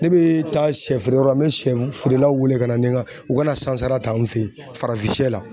Ne bɛ taa siyɛfeereyɔrɔ la n bɛ siyɛ feerelaw wele ka na ni n ka u ka na sansara ta n fɛ yen farafinsiyɛ la.